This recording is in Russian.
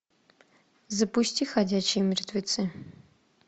запусти ходячие мертвецы